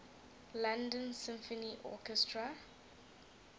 london symphony orchestra